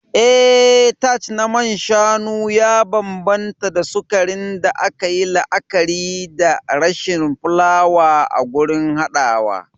Eh, Tart na man shanu ya bambanta da sukarin da aka yi la'akari da rashin fulawa a gurin haɗawa.